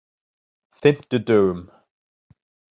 fimmtudögum